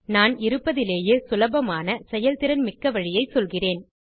நான் இருப்பதிலேயே சுலபமான செயல்திறன் மிக்க வழியை சொல்லுகிறேன்